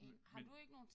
Men men